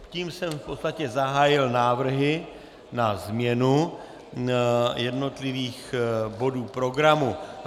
Tím jsem v podstatě zahájil návrhy na změnu jednotlivých bodů programu.